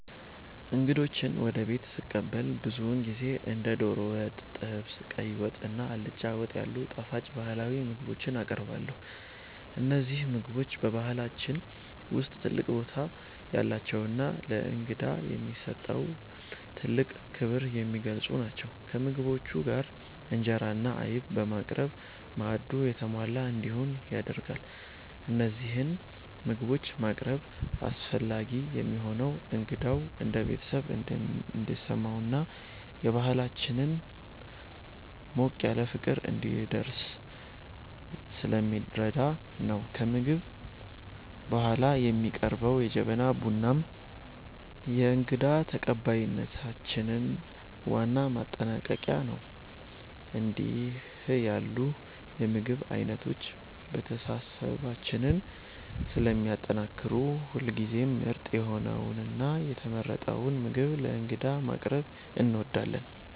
እንግዶችን ወደ ቤት ስቀበል ብዙውን ጊዜ እንደ ዶሮ ወጥ፣ ጥብስ፣ ቀይ ወጥ እና አልጫ ወጥ ያሉ ጣፋጭ ባህላዊ ምግቦችን አቀርባለሁ። እነዚህ ምግቦች በባህላችን ውስጥ ትልቅ ቦታ ያላቸውና ለእንግዳ የሚሰጠውን ጥልቅ ክብር የሚገልጹ ናቸው። ከምግቦቹ ጋር እንጀራ እና አይብ በማቅረብ ማዕዱ የተሟላ እንዲሆን ይደረጋል። እነዚህን ምግቦች ማቅረብ አስፈላጊ የሚሆነው እንግዳው እንደ ቤተሰብ እንዲሰማውና የባህላችንን ሞቅ ያለ ፍቅር እንዲረዳ ስለሚረዳ ነው። ከምግብ በኋላ የሚቀርበው የጀበና ቡናም የእንግዳ ተቀባይነታችን ዋና ማጠናቀቂያ ነው። እንዲህ ያሉ የምግብ አይነቶች መተሳሰባችንን ስለሚያጠናክሩ ሁልጊዜም ምርጥ የሆነውንና የተመረጠውን ምግብ ለእንግዳ ማቅረብ እንወዳለን።